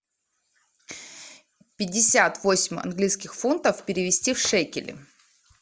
пятьдесят восемь английских фунтов перевести в шекели